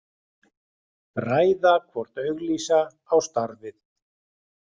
Ræða hvort auglýsa á starfið